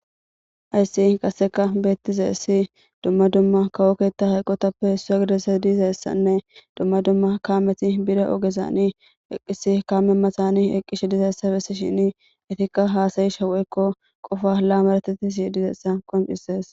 aysi qasseka beettizeessi dumma dumma kawoketa hayqotappe hessu egidese dizayssanne dumma dumma kaameti bida ogezani eqqisi kaame matani eqqishe dizayssafesi shini itikka haasayi shaweekko qofa laa maratetisi dizeessa qoncises